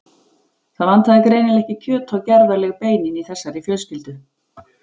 Það vantaði greinilega ekki kjöt á gerðarleg beinin í þessari fjölskyldu.